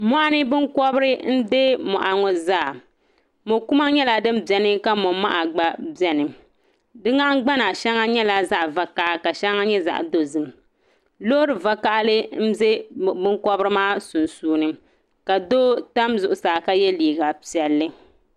Mɔɣuni binkɔbiri n-deei mɔɣu ŋɔ zaa mokuma nyɛla din beni ka momaha gba be ni di nahingbana nyɛla zaɣavakaha ka shɛŋa nyɛ zaɣadozim loorivakahili m-be binkɔbiri maa sunsuuni ka doo tam zuɣusaa ka yɛ liigapiɛlli